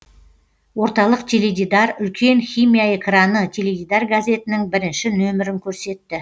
орталық теледидар үлкен химия экраны теледидар газетінің бірінші нөмірін көрсетті